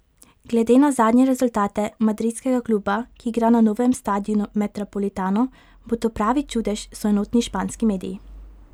Glede na zadnje rezultate madridskega kluba, ki igra na novem stadionu Metropolitano, bo to pravi čudež, so enotni španski mediji.